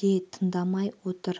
де тыңдамай отыр